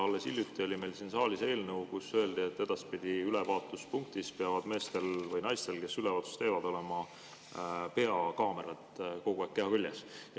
Alles hiljuti oli meil siin saalis eelnõu, kus öeldi, et edaspidi peavad ülevaatuspunktis meestel või naistel, kes ülevaatust teevad, olema peakaamerad kogu aeg keha küljes.